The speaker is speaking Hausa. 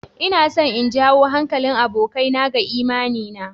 Ina so in janyo hankalin abokina ga imani na.